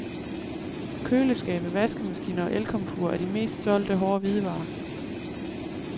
Køleskabe, vaskemaskiner og elkomfurer er de mest solgte hårde hvidevarer.